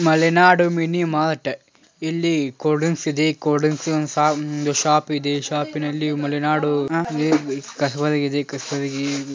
Malenadu mini mart ಇಲ್ಲಿ cold drinks ಇದೆ cold drinks ಗೆ ಒಂದು ಶಾಪ್ ಇದೆ ಶೋಪಿನಲ್ಲಿ ಮಲೆನಾಡು ಕಸಬರಿಗೆ ಇದೆ.